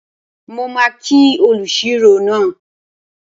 Mo máa kí olùṣirò náà